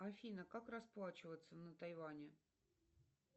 афина как расплачиваться на тайване